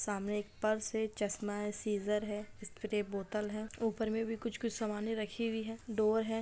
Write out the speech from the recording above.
सामने एक पर्स है चश्मा है सीज़र है स्प्रे बोतल है ऊपर में भी कुछ-कुछ सामानें रखी हुई है डोर हैं।